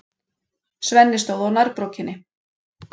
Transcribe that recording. Svenni stóð á nærbrókinni.